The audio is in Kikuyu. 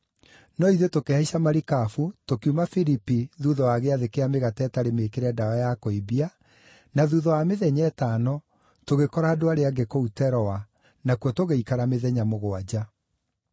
No ithuĩ tũkĩhaica marikabu, tũkiuma Filipi thuutha wa Gĩathĩ kĩa Mĩgate ĩtarĩ Mĩĩkĩre Ndawa ya Kũimbia, na thuutha wa mĩthenya ĩtano, tũgĩkora andũ arĩa angĩ kũu Teroa, nakuo tũgĩikara mĩthenya mũgwanja.